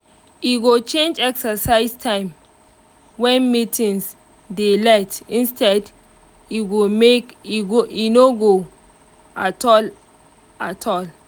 e go change exercise time when meetings dey lite instead make e no go at all at all